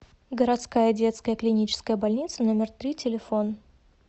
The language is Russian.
городская детская клиническая больница номер три телефон